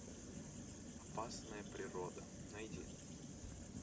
опасная природа найди